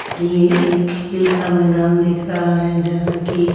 और ये एक खेल का मैदान दिख रहा है यहां कि--